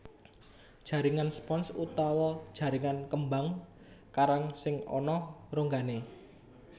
Jaringan spons utawa jaringan kembang karang sing ana ronggané